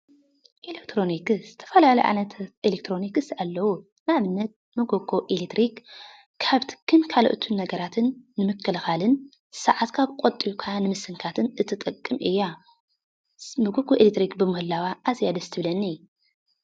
ኤለክትሮኒክስ ዝተፈላለዩ ዓይነታት ኤሌክትሮኒክስ ኣለው፡፡ ንኣብነት መጎጎ ኤሌትሪክ ካብ ትክን ካልኦት ነገራትን ንምክልካልን ሰዓትካ ቆጢብካ ንምስንካትን እትጠቅም እያ፡፡ መጎጎ ኤሌትሪክ ብምህላዋ ኣዝያ እያ ደስ እትብለኒ፡፡